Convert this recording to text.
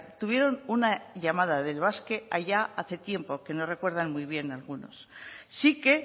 tuvieron una llamada del basque allá hace tiempo que no recuerdan muy bien algunos sí que